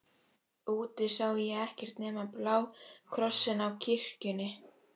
Úti sá ég ekkert nema bláa krossinn á kirkjunni.